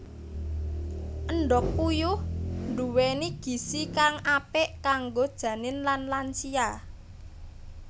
Endhog puyuh nduwéni gizi kang apik kanggo janin lan lansia